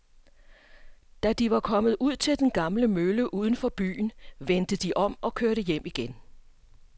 Da de var kommet ud til den gamle mølle uden for byen, vendte de om og kørte hjem igen.